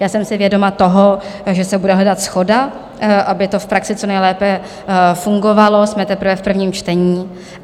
Já jsem si vědoma toho, že se bude hledat shoda, aby to v praxi co nejlépe fungovalo, jsme teprve v prvním čtení.